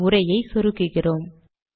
இந்த உரையை சொருகுகிறோம்